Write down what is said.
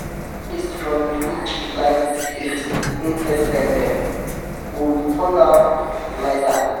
we dey bury di waste from di fish like di scales and intestine dem or we turn am to fertilizer.